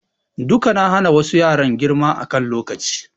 Duka na hana wassu yaran girma a kan lokaci